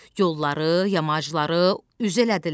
Yolları, yamacları üz elədilər.